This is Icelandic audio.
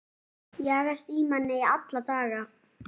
Jagast í manni alla daga.